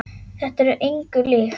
Þetta er engu líkt.